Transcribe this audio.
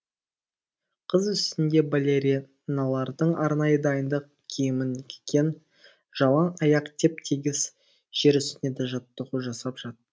қыз үстінде балериналардың арнайы дайындық киімін киген жалаң аяқ теп тегіс жер үстінде жаттығу жасап жатты